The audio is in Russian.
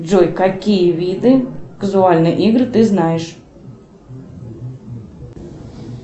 джой какие виды казуальные игры ты знаешь